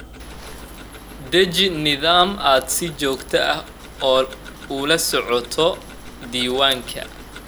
Deji nidaam aad si joogto ah ula socoto diiwaanada.